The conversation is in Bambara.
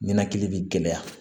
Ninakili bɛ gɛlɛya